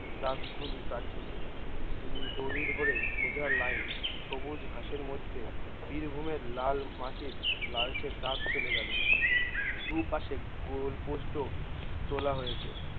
দাগ গুলি কাটতেছে হম দরি ধরে সোজা লাইন সবুজ ঘাসের মধ্যে বীরভূমের লাল মাটির লালচে দাগ চলে গেলো দু পশে গোল পোস্ট ও তোলা হয়েছে